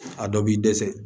A dɔ b'i dɛsɛ